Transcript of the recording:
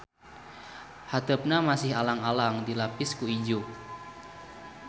Hateupna masih alang-alang dilapis ku ijuk.